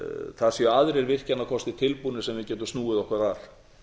það séu aðrir virkjanakostir tilbúnir sem við getum snúið okkur að